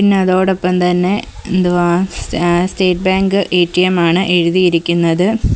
പിന്നെ അതോടൊപ്പം തന്നെ എന്തുവാ സ് ഏഹ് സ്റ്റേറ്റ് ബാങ്ക് എ_ടി_എം ആണ് എഴുതിയിരിക്കുന്നത്.